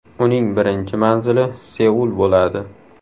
Uning birinchi manzili Seul bo‘ladi.